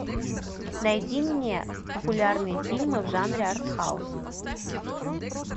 найди мне популярные фильмы в жанре артхаус